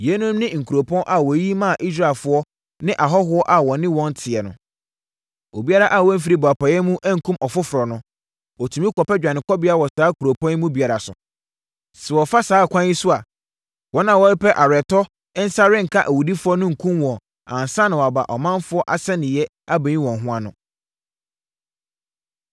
Yeinom ne nkuropɔn a wɔyiyi maa Israelfoɔ ne ahɔhoɔ a wɔne wɔn teɛ no. Obiara a wanfiri boapayɛ mu ankum ɔfoforɔ no, ɔtumi kɔpɛ dwanekɔbea wɔ saa nkuropɔn yi mu biara so. Sɛ wɔfa saa ɛkwan yi so a wɔn a wɔrepɛ aweretɔ nsa renka awudifoɔ no nkum wɔn ansa na wɔaba ɔmanfoɔ asɛnniiɛ abɛyi wɔn ho ano.